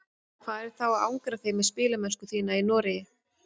Hvað er þá að angra þig með spilamennsku þína í Noregi?